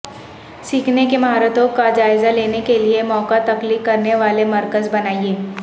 سیکھنے کی مہارتوں کا جائزہ لینے کے لئے مواقع تخلیق کرنے والے مرکز بنائیں